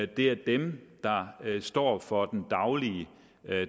det er dem der står for den daglige